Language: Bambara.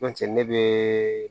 N'o tɛ ne be